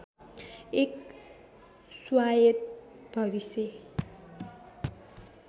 एक स्वायत्त भविष्य